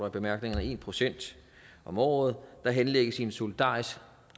i bemærkningerne en procent om året der henlægges i en solidarisk